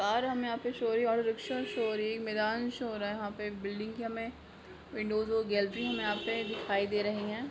और हमे यहाँ पे शो हो रही है शो हो रही हैमैदान शो हो रहा हैयहाँ पे बिल्डिंगया मे विंडो और गैलरी यहाँ पे दिखाई दे रहे है।